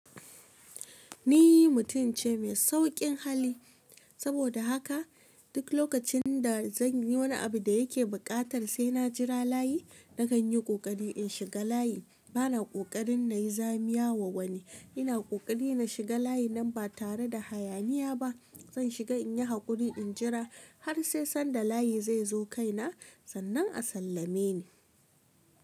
Ni mutum ce mai saukin hali, saboda haka duk lokacin da zan yi wani abu da yake buƙatar sai na jira layi, na kan yi ƙoƙari in shiga layi. Bana ƙoƙarin na yi zamia wa wani. Ina ƙoƙari na shiga layin nan ba tare da hayaniya ba. Zan shiga in yi haƙuri in jira har sai sanda layi zai zo kai na sannan a sallame ni.